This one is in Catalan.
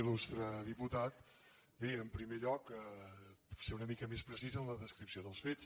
il·lustre diputat bé en primer lloc ser una mica més precís en la descripció dels fets